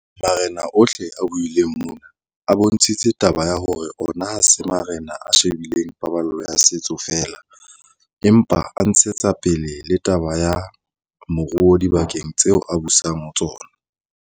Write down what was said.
Marena ohle a buileng mona, a bontshitse taba ya hore ona ha se marena a she bileng paballo ya setso feela, empa a ntshetsa pele le taba ya moruo dibakeng tseo a busang ho tsona.